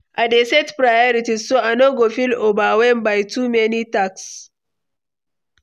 I dey set priorities, so I no go feel overwhelmed by too many tasks.